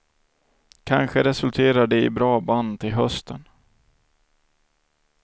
Kanske resulterar det i bra band till hösten.